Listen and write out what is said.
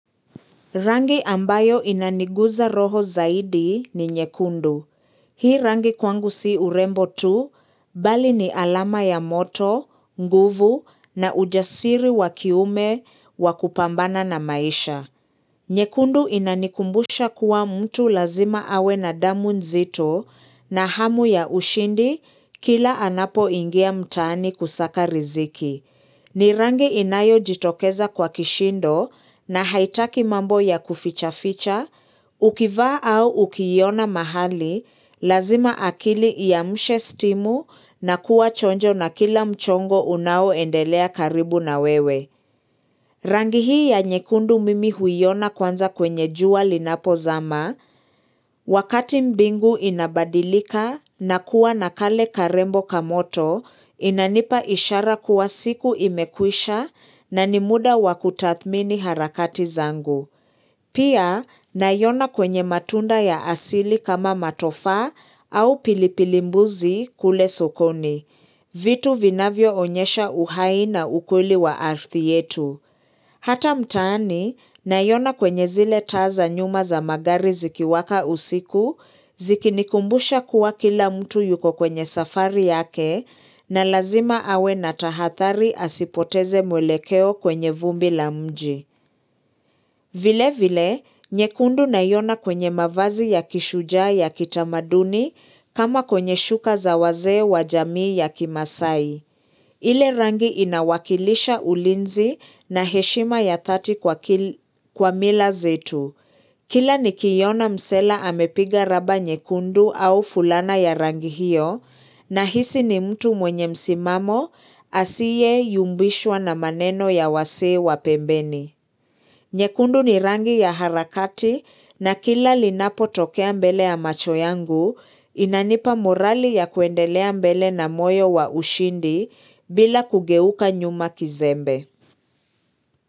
Rangi ambayo inaniguza roho zaidi ni nyekundu. Hii rangi kwangu si urembo tu, bali ni alama ya moto, nguvu na ujasiri wakiume wakupambana na maisha. Nye kundu inanikumbusha kuwa mtu lazima awe na damu nzito na hamu ya ushindi kila anapo ingia mtaani kusaka riziki. Ni rangi inayo jitokeza kwa kishindo na haitaki mambo ya kuficha ficha, ukivaa au ukiiona mahali, lazima akili iamshe stimu na kuwa chonjo na kila mchongo unao endelea karibu na wewe. Rangi hii ya nyekundu mimi huiona kwanza kwenye jua linapo zama, wakati mbingu inabadilika na kuwa nakale karembo kamoto, inanipa ishara kuwa siku imekwisha na nimuda wakutathmini harakati zangu. Pia, naiona kwenye matunda ya asili kama matofaa au pilipilimbuzi kule sokoni, vitu vinavyo onyesha uhai na ukweli wa ardhi yetu. Hata mtaani, naiona kwenye zile taa za nyuma za magari ziki waka usiku, ziki nikumbusha kuwa kila mtu yuko kwenye safari yake, na lazima awe na tahadhari asipoteze mwelekeo kwenye vumbi la mji. Vile vile, nyekundu naiona kwenye mavazi ya kishujaa ya kitamaduni kama kwenye shuka zawazee wa jamii ya kimasai. Ile rangi inawakilisha ulinzi na heshima ya dhati kwa mila zetu. Kila nikiona msela amepiga raba nyekundu au fulana ya rangi hiyo na hisi ni mtu mwenye msimamo asiyeyumbishwa na maneno ya wasee wa pembeni. Nyekundu ni rangi ya harakati na kila linapo tokea mbele ya macho yangu inanipa morali ya kuendelea mbele na moyo wa ushindi bila kugeuka nyuma kizembe.